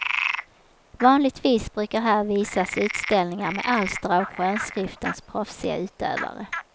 Vanligtvis brukar här visas utställningar med alster av skönskriftens proffsiga utövare.